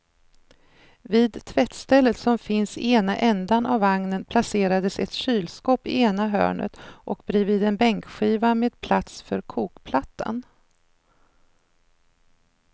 Vid tvättstället som finns i ena ändan av vagnen placerades ett kylskåp i ena hörnet och bredvid en bänkskiva med plats för kokplattan.